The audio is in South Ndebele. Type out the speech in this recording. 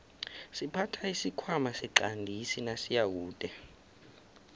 siphatha isikhwana siqandisi nasiyakude